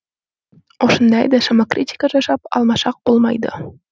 осындайда самокритика жасап алмасақ болмайды